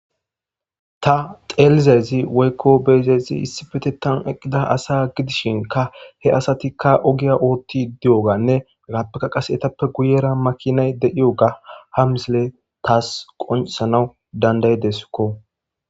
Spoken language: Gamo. Ta xelizezi woykko beyzezi issifete tan eqqida asa gidishinka he asatikka ogiya ootti diyoganne gappeka qas etappe guyera makinay de7iyoga ha misile taas qonsanaw dandayideskko